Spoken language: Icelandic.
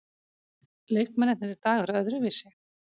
Leikmennirnir í dag eru öðruvísi.